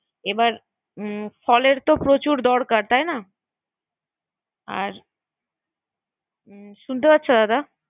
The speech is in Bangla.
এবার ফলের তো প্রচুর দরকার তাই না। আর শুনতে পারছো দাদা